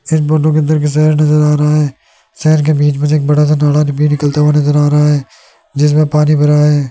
नजर आ रहा है जिसमें पानी भरा है।